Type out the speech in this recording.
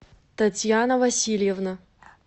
татьяна васильевна